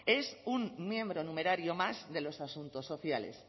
es un miembro numerario más de los asuntos sociales